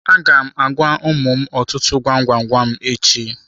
Aga m agwa ụmụ m ọtụtụ gwam gwam gwam echi.